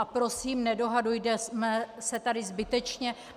A prosím, nedohadujme se tady zbytečně.